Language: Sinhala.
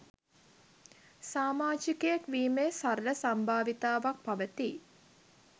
සාමාජිකයෙක් වීමේ සරල සම්භාවිතාවක් පවතී